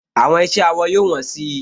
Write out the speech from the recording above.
Àwọn iṣẹ́ awọ yóò wọ́n si